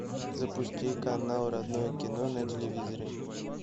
запусти канал родное кино на телевизоре